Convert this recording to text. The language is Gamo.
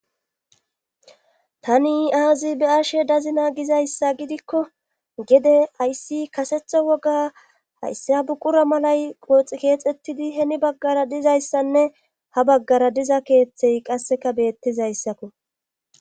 tani aazi be7ashe dazina gizayssa gidikko gede hayssi kasetha woga hayssi ha buqura malay qooxi keexettidi heni baggara dizayssanne ha baggara diza keeththey qasseka beettizayssakko